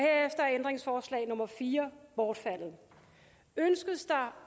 ændringsforslag nummer fire bortfaldet ønskes